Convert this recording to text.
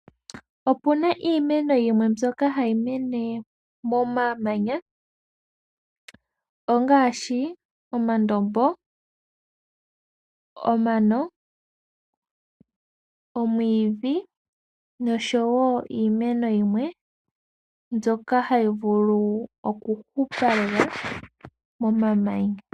Opuna iimeno mbyoka hayi mene moma manya ngaashi omandombo, omano, omwiidhi noshowo iimeno yimwe mbyoka hayi vulu oku hupa lela moma manya.